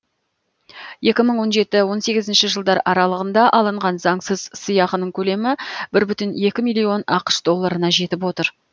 екі мың он жеті он сегізінші жылдар аралығында алынған заңсыз сыйақының көлемі бір бүтін екі миллион ақш долларына жетіп отыр